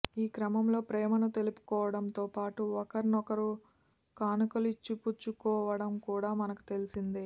ఈ క్రమంలో ప్రేమను తెలుపుకోవడంతో పాటు ఒకరికొకరు కానుకలిచ్చిపుచ్చుకోవడం కూడా మనకు తెలిసిందే